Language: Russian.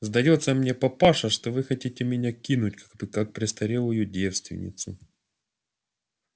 сдаётся мне папаша что вы хотите меня кинуть как престарелую девственницу